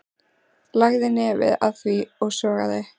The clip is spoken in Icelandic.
Lagði nefið að því og sogaði.